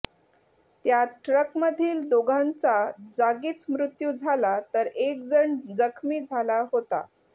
त्यात ट्रकमधील दोघांचा जागीच मृत्यु झाला तर एक जण जखमी झाला होता